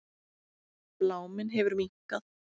Bláminn hefur minnkað.